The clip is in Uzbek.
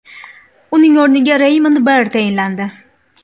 Uning o‘rniga Raymond Barre tayinlandi.